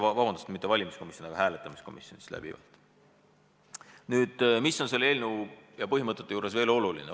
Nüüd, mis on selle eelnõu puhul veel oluline?